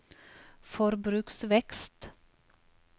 forbruksvekst